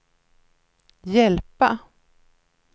hjälpa